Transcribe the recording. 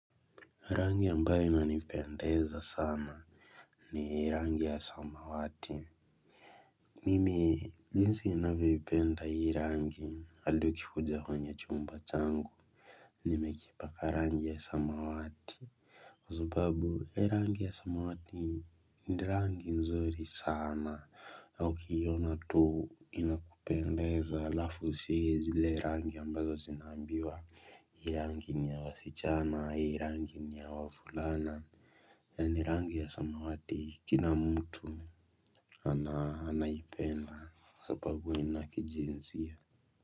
Rangi ambayo ina nipendeza sana, ni rangi ya samawati. Mimi ninsi ninavyoipenda hii rangi andi ukikuja kwenye chumba changu nimekipaka rangi ya samawati. Kwazababu hee rangi ya samawati ni rangi nzuri sana ama ukiiona tuu ina pendeza alafu sie zile rangi ambazo zinambiwa. Hii rangi ni ya wasichana, hii rangi ni ya wafulana, yaani rangi ya samawati kina mtu anaipenda sapabu ina kijinsia.